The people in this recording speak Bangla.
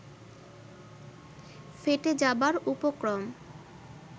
ফেটে যাবার উপক্রম